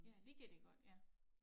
Ja det kan de godt ja